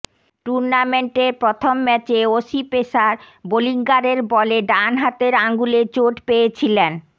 টুর্নামেন্টের প্রথম ম্যাচে অসি পেসার বোলিঙ্গারের বলে ডান হাতের আঙুলে চোট পেয়েছিলেন